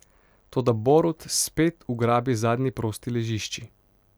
Toda Borut spet ugrabi zadnji prosti ležišči.